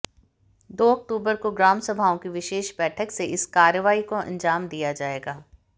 दो अक्तूबर को ग्राम सभाओं की विशेष बैठक में इस कार्रवाई को अंजाम दिया जाएगा